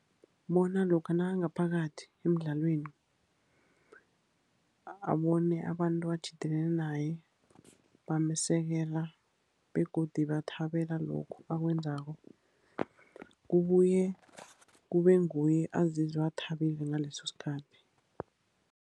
Bona lokha nakangaphakathi emdlalweni, abone abantu abatjhidelene naye bamsekela, begodu bathabela lokhu akwenzako. Kubuye kube nguye azizwe athabile ngaleso sikhathi.